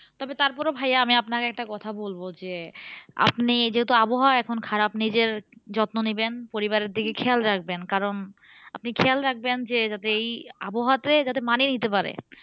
তবে তারপরেও ভাইয়া আমি আপনাকে একটা কথা বলবো যে, আপনি যেহেতু আবহাওয়া এখন খারাপ নিজের যত্ন নিবেন পরিবারের দিকে খেয়াল রাখবেন। কারণ আপনি খেয়াল রাখবেন যে, যাতে এই আবহাওয়াতে যাতে মানিয়ে নিতে পারে।